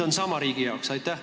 Hind on riigi jaoks sama.